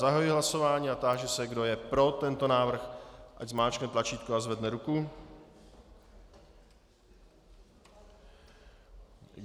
Zahajuji hlasování a táži se, kdo je pro tento návrh, ať zmáčkne tlačítko a zvedne ruku.